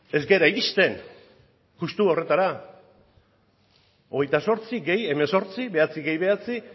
ez gara iristen justu horretara hogeita zortzi gehi hemezortzi bederatzi gehi bederatzi